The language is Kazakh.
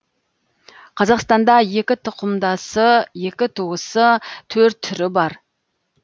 қазақстанда екі тұқымдасы екі туысы төрт түрі бар